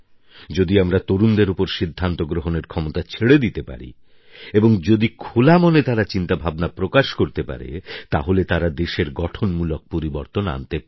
যদি আমরা তরুণদের ওপর সিদ্ধান্ত গ্রহণের ক্ষমতা ছেড়ে দিতে পারি এবং যদি খোলামনে তারা চিন্তাভাবনা প্রকাশ করতে পারে তাহলে তারা দেশের গঠনমূলক পরিবর্তন আনতে পারে